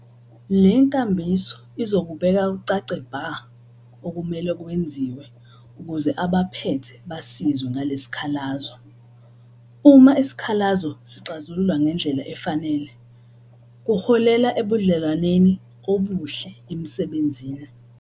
Le nkambiso izokubeka kucace bha okumele kwenziwe ukuze abaphethe baziswe ngalesi sikhalazo. Uma isikhalazo sixazululwa ngendlela efanele kuholela ebudlelwaneni obuhle emsebenzini.